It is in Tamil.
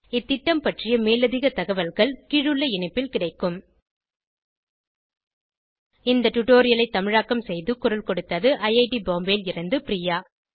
இந்த திட்டம் பற்றிய மேலதிக தகவல்கள் கீழுள்ள இணைப்பில் கிடைக்கும் httpspoken tutorialorgNMEICT Intro இந்த டுடோரியலை தமிழாக்கம் செய்து குரல் கொடுத்தது ஐஐடி பாம்பேவில் இருந்து பிரியா